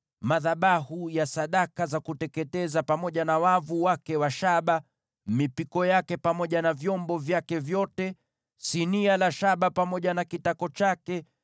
madhabahu ya sadaka za kuteketeza pamoja na wavu wake wa shaba, mipiko yake pamoja na vyombo vyake vyote; sinia la shaba pamoja na tako lake;